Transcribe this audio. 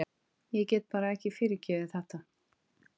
Hann reisti sig upp og hagræddi handleggnum í fatlanum.